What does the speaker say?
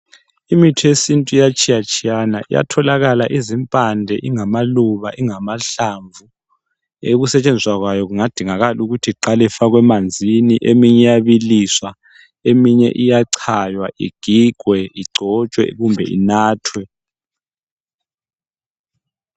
Imithi yesintu iyatshiya tshiyana iyatholakala izimpande, ingamaluba ingamahlamvu .Ukusetshenziswa kwayo kungadingakalu kuthi iqali ifakwe manzini eminye iyabiliswa eminye iyachaywa igigwe igcotshwe kumbe inathwe .